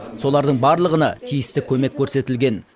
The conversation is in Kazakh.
солардың барлығына тиісті көмек көрсетілген